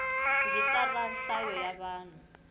rhijisitara ra nhlayo ya vanhu